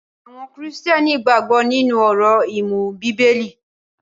Àwọn Kìrìtẹ́ẹ́nì gbàgbó nínú òrò imu bíbélì.